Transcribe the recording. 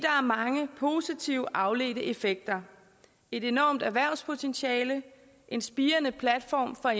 mange positive afledte effekter et enormt erhvervspotentiale en spirende platform for